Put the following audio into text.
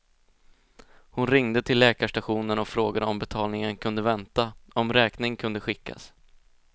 Hon ringde till läkarstationen och frågade om betalningen kunde vänta, om räkning kunde skickas.